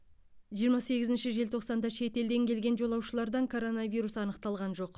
жиырма сегізінші желтоқсанда шетелден келген жолаушылардан коронавирус анықталған жоқ